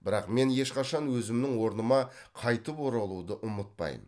бірақ мен ешқашан өзімнің орныма қайтып оралуды ұмытпаймын